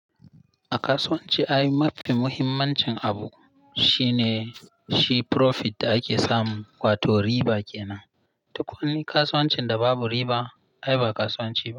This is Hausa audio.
A kasuwanci, ai mafi muhimmancin abu shine shi profit da ake samu wato riba kenan. Duk wani kasuwancin da babu riba, ai ba kasuwanci ba.